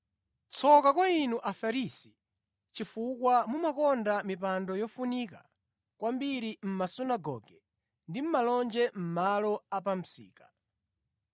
“Tsoka kwa inu Afarisi, chifukwa mumakonda mipando yofunika kwambiri mʼmasunagoge ndi malonje mʼmalo a pa msika.